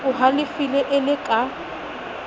o halefile e le ka